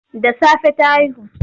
Da safe ta haihu.